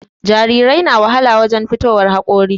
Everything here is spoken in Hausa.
Jarirai na wahala wurin fitowar haƙori